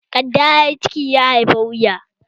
Kadda ya yi ciki, ya haifi wuya